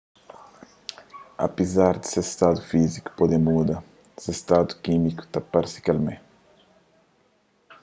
apezar di se stadu fíziku pode muda se stadu kímiku ta parse kel mé